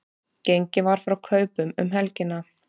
Gengið var frá kaupunum um helgina